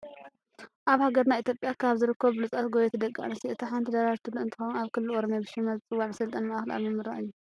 ኣብ ሃገርና ኢትዮጵያ ካብ ዝርከቡ ብሉፃት ጉየይቲ ደቂ ኣንትስዮ እታ ሓንቲ ደራርቱ ቱሉ እንትኸውን ኣብ ክልል ኦሮሚያ ብሽማ ዝፅዋዕ መሰልጠኒ ማእከል ኣብ ምምራቅ እዩ።